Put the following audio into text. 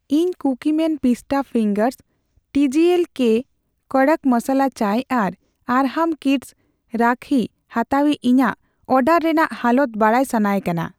ᱤᱧ Cookieman pista fingers, ᱴᱤᱡᱤᱮᱞ ᱠᱳᱹ ᱠᱚᱫᱚᱠ ᱢᱚᱥᱟᱞᱟ ᱪᱟᱭ ᱟᱨ ᱟᱨᱦᱟᱢ ᱠᱤᱰᱥ ᱨᱟᱠᱦᱤ ᱦᱟᱛᱟᱣᱤᱡᱽ ᱤᱧᱟᱜ ᱚᱰᱟᱨ ᱨᱮᱱᱟᱜ ᱦᱟᱞᱚᱛ ᱵᱟᱰᱟᱭ ᱥᱟᱱᱟᱭᱮ ᱠᱟᱱᱟ ᱾